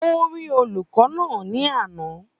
Ó rí olùkọ́ náà ni àná